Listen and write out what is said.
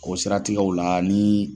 O siratigɛw la ni